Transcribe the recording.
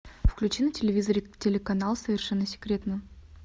включи на телевизоре телеканал совершенно секретно